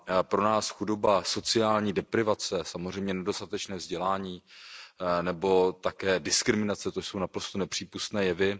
Pro nás chudoba, sociální deprivace, samozřejmě nedostatečné vzdělání nebo také diskriminace, to jsou naprosto nepřípustné jevy.